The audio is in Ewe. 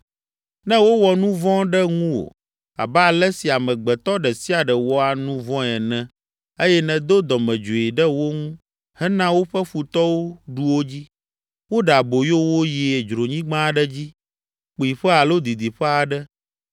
“Ne wowɔ nu vɔ̃ ɖe ŋuwò, abe ale si amegbetɔ ɖe sia ɖe wɔa nu vɔ̃e ene eye nèdo dɔmedzoe ɖe wo ŋu hena woƒe futɔwo ɖu wo dzi, woɖe aboyo wo yi dzronyigba aɖe dzi, kpuiƒe alo didiƒe aɖe